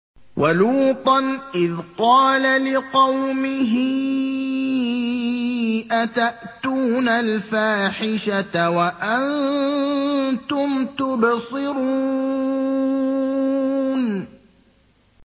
وَلُوطًا إِذْ قَالَ لِقَوْمِهِ أَتَأْتُونَ الْفَاحِشَةَ وَأَنتُمْ تُبْصِرُونَ